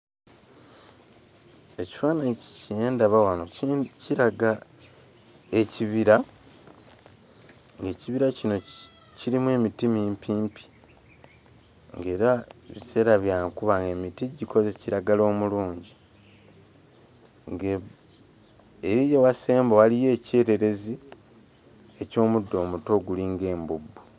Ekifaananyi kye ndaba wano kiraga ekibira, ng'ekibira kino kirimu emiti mimpimpi, ng'era biseera bya nkuba ng'emiti gikoze kiragala omulungi. Eri ewasemba waliyo ekyererezi eky'omuddo omuto ogulinga embubbu.